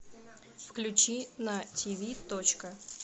включи на тв точка